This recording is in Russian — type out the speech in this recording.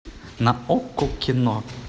на окко кино